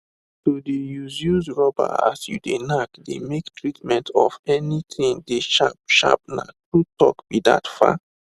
to de use use rubber as you de knack de make treatment of anything dey sharp sharpna true talk be that fa